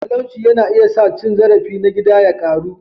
Talauci yana iya sa cin zarafi na gida ya ƙaru.